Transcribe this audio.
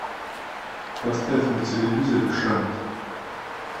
поставь на телевизоре шант